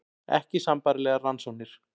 Ekki sambærilegar rannsóknir